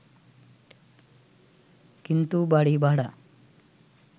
কিন্তু বাড়ী ভাড়া